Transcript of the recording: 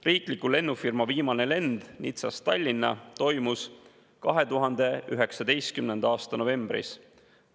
Riikliku lennufirma viimane lend Nizzast Tallinna toimus 2019. aasta novembris.